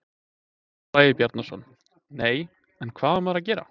Stefán Bragi Bjarnason: Nei, en hvað á maður að gera?